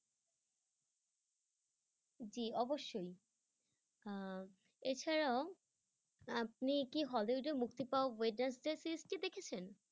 জি অবশ্যই আহ এছাড়াও আপনি কি hollywood এ মুক্তি পাওয়া wednesday series টি দেখেছেন?